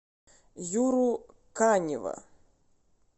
юру канева